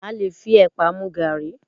A lè fi ẹ̀pà mu gaàrí